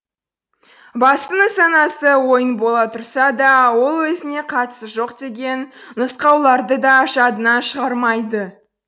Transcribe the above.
басты нысанасы ойын бола тұрса да ол өзіне қатысы жоқ деген нұсқауларды да жадынан шығармайды